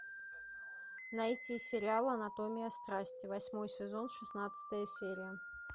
найти сериал анатомия страсти восьмой сезон шестнадцатая серия